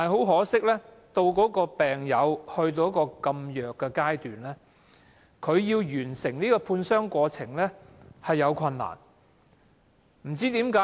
可惜，當病友體弱至此，他們要完成判傷過程十分困難。